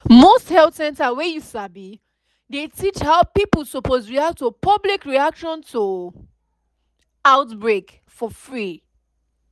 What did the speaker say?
most health center wey you sabi dey teach how pipo suppose react to public reaction to outbreak for free